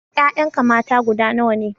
Ƴaƴanka mata guda nawa ne?